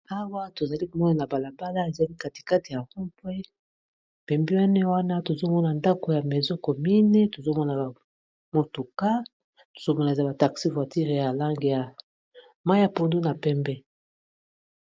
Awa tozali komona na balabala ezali katikate ya rond point pembini wana tozomona ndako ya maison commune tozomona ba motoka tosongola za ba taxi voiture ya langi ya mai ya pondu na pembe.